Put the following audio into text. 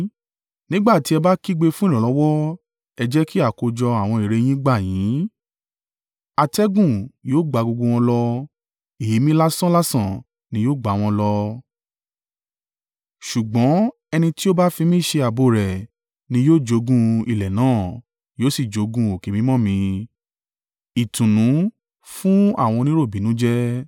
Nígbà tí ẹ bá kígbe fún ìrànlọ́wọ́ ẹ jẹ́ kí àkójọ àwọn ère yín gbà yín! Atẹ́gùn yóò gbá gbogbo wọn lọ, èémí lásán làsàn ni yóò gbá wọn lọ. Ṣùgbọ́n ẹni tí ó bá fi mí ṣe ààbò rẹ̀ ni yóò jogún ilẹ̀ náà yóò sì jogún òkè mímọ́ mi.”